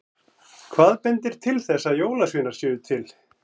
Hvað bendir til þess að jólasveinar séu til?